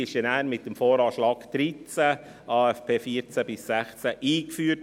Diese wurden dann mit dem VA 2013, AFP 2014– 2016 eingeführt.